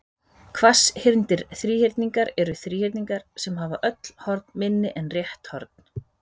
hvasshyrndir þríhyrningar eru þríhyrningar sem hafa öll horn minni en rétt horn